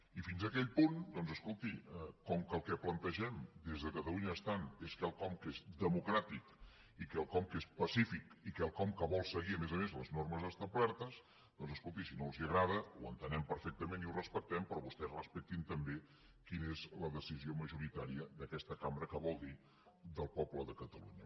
i fins aquell punt doncs escolti com que el que plantegem des de catalunya estant és quelcom que és democràtic i quelcom que és pacífic i quelcom que vol seguir a més a més les normes establertes doncs escolti si no els agrada ho entenem perfectament i ho respectem però vostès respectin també quina és la decisió majoritària d’aquesta cambra que vol dir del poble de catalunya